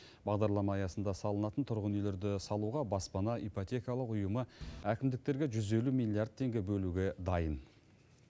бағдарлама аясында салынатын тұрғын үйлерді салуға баспана ипотекалық ұйымы әкімдіктерге жүз елу миллиард теңге бөлуге дайын